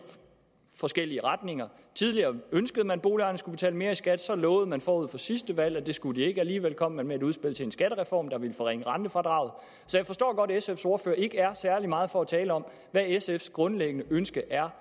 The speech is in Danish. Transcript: forskellige retninger tidligere ønskede man at boligejerne skulle betale mere i skat men så lovede man forud for sidste valg at det skulle de ikke alligevel kom man med et udspil til en skattereform der ville forringe rentefradraget så jeg forstår godt at sfs ordfører ikke er særlig meget for at tale om hvad sfs grundlæggende ønske er